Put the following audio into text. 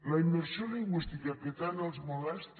la immersió lingüística que tant els molesta